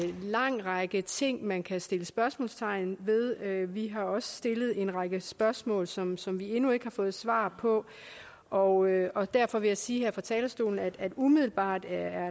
lang række ting man kan sætte spørgsmålstegn ved vi har også stillet en række spørgsmål som som vi endnu ikke har fået svar på og og derfor vil jeg sige her fra talerstolen at umiddelbart er